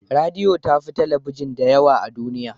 Radiyo ta fi talabijin dadewa a duniya.